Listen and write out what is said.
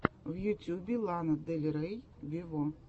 в ютюбе лана дель рей вево